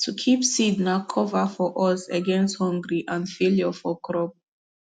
to keep seed na cover for us against hungry and failure for crop